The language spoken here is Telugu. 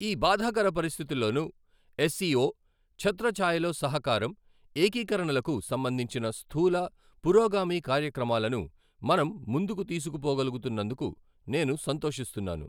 ఈ బాధాకర పరిస్థితుల్లోనూ, ఎస్సిఒ ఛత్రఛాయలో సహకారం, ఏకీరణలకు సంబంధించిన స్థూల, పురోగామి కార్యక్రమాలను మనం ముందుకు తీసుకుపోగలుగుతున్నందుకు నేను సంతోషిస్తున్నాను.